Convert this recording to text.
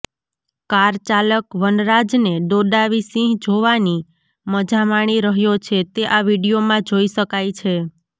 કારચાલક વનરાજને દોડાવી સિંહ જોવાની મજા માણી રહ્યો છે તે આ વીડિયોમાં જોઇ શકાય છે